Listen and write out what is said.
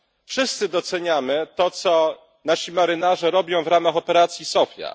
Wszyscy doceniamy to, co nasi marynarze robią w ramach operacji SOPHIA.